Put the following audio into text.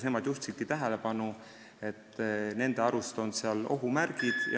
Nad juhtisidki tähelepanu, et nende arust on seal ohumärke.